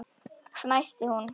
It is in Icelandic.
fnæsti hún.